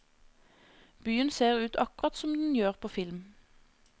Byen ser ut akkurat som den gjør på film.